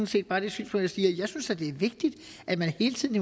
set bare det synspunkt jeg synes at det er vigtigt at man hele tiden